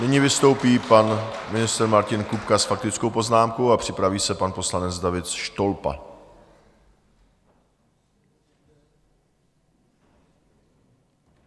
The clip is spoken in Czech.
Nyní vystoupí pan ministr Martin Kupka s faktickou poznámkou a připraví se pan poslanec David Štolpa.